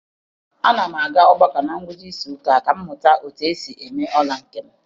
Ana m aga ọgbakọ na ngwụcha izuụka a ka m mụta otu esi eme ọla nke m.